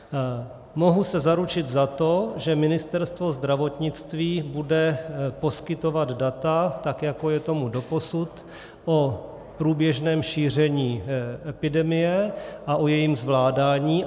Mohu se zaručit za to, že Ministerstvo zdravotnictví bude poskytovat data tak, jak tomu bylo doposud, o průběžném šíření epidemie a o jejím zvládání.